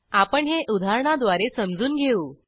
आपण हे उदाहरणाद्वारे समजून घेऊ